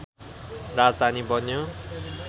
राजधानी बन्यो